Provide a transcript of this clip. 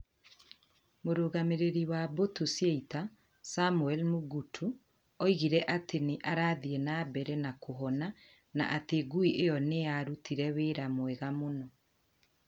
Mũrũgamĩrĩri wa mbũtũ cia ita, Samuel Mugutu , oigire atĩ nĩ arathii na mbere nakuhona na atĩ ngui ĩyo nĩ yarutire wĩra mwega mũno.